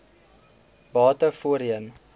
bate voorheen